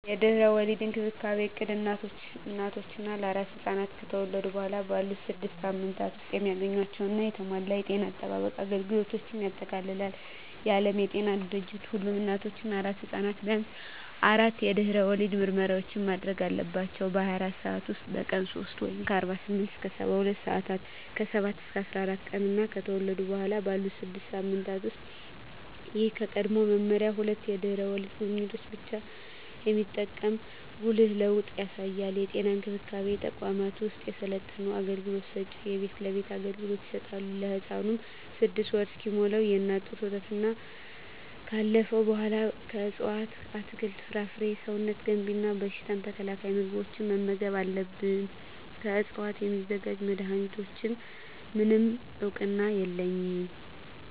የድህረ ወሊድ እንክብካቤ እቅድ እናቶች እና አራስ ሕፃናት ከተወለዱ በኋላ ባሉት ስድስት ሳምንታት ውስጥ የሚያገኟቸውን የተሟላ የጤና አጠባበቅ አገልግሎቶችን ያጠቃልላል። የዓለም ጤና ድርጅት ሁሉም እናቶች እና አራስ ሕፃናት ቢያንስ አራት የድህረ ወሊድ ምርመራዎችን ማድረግ አለባቸው - በ24 ሰዓት ውስጥ፣ በቀን 3 (48-72 ሰአታት)፣ ከ7-14 ቀናት እና ከተወለዱ በኋላ ባሉት 6 ሳምንታት ውስጥ። ይህ ከቀድሞው መመሪያ ሁለት የድህረ ወሊድ ጉብኝቶችን ብቻ የሚጠቁም ጉልህ ለውጥ ያሳያል። የጤና እንክብካቤ ተቋማት ወይም የሰለጠኑ አገልግሎት ሰጭዎች የቤት ለቤት አገልግሎት ይሰጣሉ። ለህፃኑም 6ወር እስኪሞላው የእናት ጡት ወተትና ካለፈው በኃላ ከእፅዋት አትክልት፣ ፍራፍሬ ሰውነት ገንቢ እና በሽታ ተከላካይ ምግቦችን መመገብ አለብን። ከዕፅዋት ስለሚዘጋጁ መድኃኒቶች፣ ምንም እውቅና የለኝም።